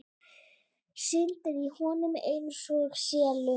Syndi í honum einsog selur.